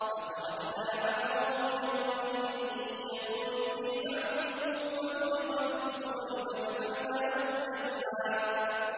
۞ وَتَرَكْنَا بَعْضَهُمْ يَوْمَئِذٍ يَمُوجُ فِي بَعْضٍ ۖ وَنُفِخَ فِي الصُّورِ فَجَمَعْنَاهُمْ جَمْعًا